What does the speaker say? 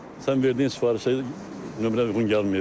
Sən verdiyin sifarişə nömrə uyğun gəlmir.